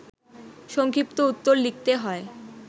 সংক্ষিপ্ত উত্তর লিখতে হয়